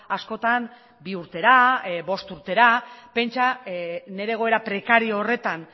askotan bi urtera bost urtera pentsa nire egoera prekario horretan